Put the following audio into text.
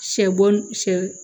Sɛ bo sɛ